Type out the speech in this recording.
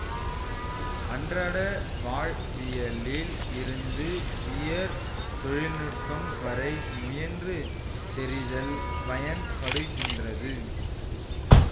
அன்றாட வாழ்வியலில் இருந்து உயர் தொழில்நுட்பம் வரை முயன்று தெரிதல் பயன்படுகின்றது